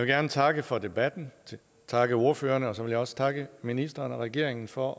gerne takke for debatten og takke ordførerne og så vil jeg også takke ministeren og regeringen for